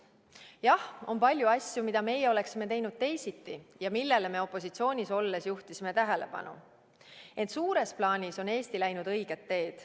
Jah, on palju asju, mida meie oleksime teinud teisiti ja millele me opositsioonis olles juhtisime tähelepanu, ent suures plaanis on Eesti läinud õiget teed.